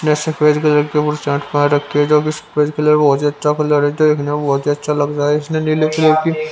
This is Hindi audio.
ये सफेद कलर की बुर्सट पहन रखी है जो कि सफेद कलर बहुत ही अच्छा कलर है देखने में बहुत ही अच्छा लग रहा है इसमें नीले कलर की --